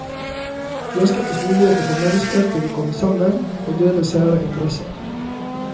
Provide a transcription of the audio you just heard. Der skapes muligheter for mennesker til å komme sammen og dele sære interesser.